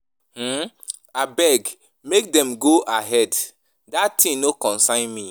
um Abeg make dem go ahead dat thing no concern me